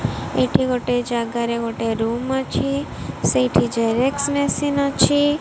ଏଇଠି ଗୋଟେ ଜାଗାରେ ଗୋଟେ ରୁମ୍ ଅଛି ସେଇଠି ଜେରକ୍ସ ମେସିନ୍ ଅଛି।